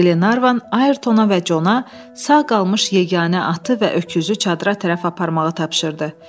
Qlenarvan Ayertona və Cona sağ qalmış yeganə atı və öküzü çadıra tərəf aparmağı tapşırdı.